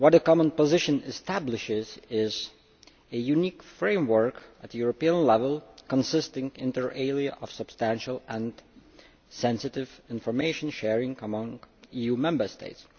What the common position establishes is a unique framework at European level, consisting inter alia of substantial and sensitive information sharing among EU Member States.